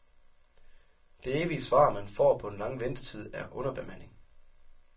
Det evige svar, man får på den lange ventetid, er underbemanding.